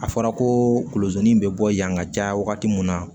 A fɔra kolozi in bɛ bɔ yan ka caya wagati min na